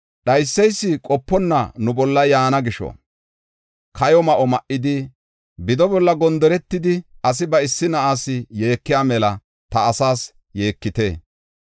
Dhayseysi qoponna nu bolla yaana gisho, kayo ma7o ma7idi, bido bolla gondoretidi, asi ba issi na7as yeekiya mela ta asaas yeekite.